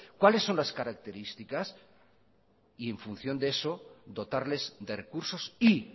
cuáles son las características y en función de eso dotarles de recursos y